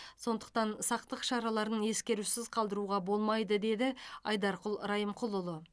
сондықтан сақтық шараларын ескерусіз қалдыруға болмайды деді айдарқұл райымқұлұлы